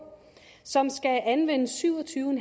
som skal anvende syv og tyve